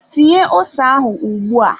Tinye ose ahụ ugbua!